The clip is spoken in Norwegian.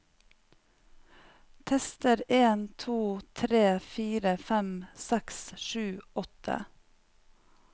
Tester en to tre fire fem seks sju åtte